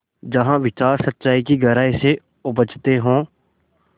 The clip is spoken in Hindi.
जहाँ विचार सच्चाई की गहराई से उपजतें हों